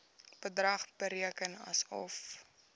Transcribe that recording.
bedrag bereken asof